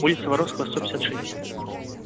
улица воровского сто пятьдесят шесть